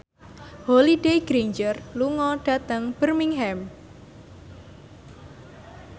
Holliday Grainger lunga dhateng Birmingham